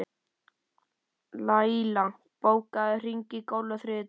Laila, bókaðu hring í golf á þriðjudaginn.